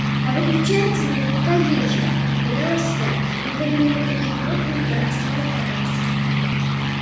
а выключается наверняка ей же догадалась я надавила на ту же кнопку и экран снова погас